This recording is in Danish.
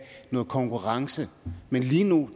noget konkurrence men lige nu